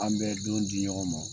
An bɛ don di ɲɔgɔn ma